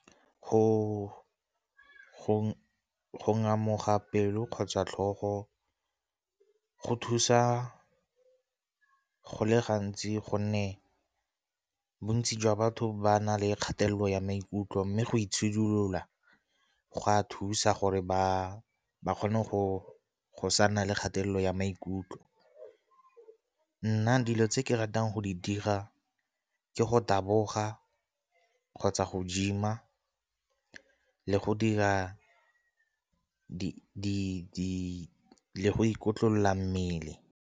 Go ngamoga pelo kgotsa tlhogo go thusa go le gantsi gonne bontsi jwa batho ba na le kgatelelo ya maikutlo, mme go itshidilola go a thusa gore ba ba kgone go sa nna le kgatelelo ya maikutlo. Nna dilo tse ke ratang go di dira ke go taboga kgotsa go gym-a le go dira le go ikotlolola mmele.